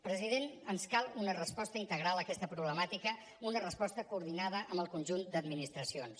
president ens cal una resposta integral a aquesta problemàtica una resposta coordinada amb el conjunt d’administracions